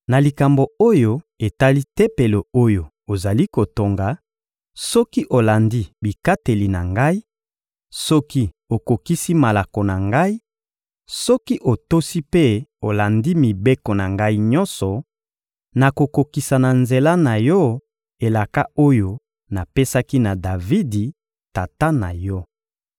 — Na likambo oyo etali Tempelo oyo ozali kotonga, soki olandi bikateli na Ngai, soki okokisi malako na Ngai, soki otosi mpe olandi mibeko na Ngai nyonso, nakokokisa na nzela na yo elaka oyo napesaki na Davidi, tata na yo.